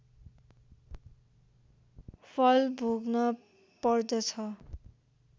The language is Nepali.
फल भोग्न पर्दछ